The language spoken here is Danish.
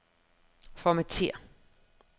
Formatér.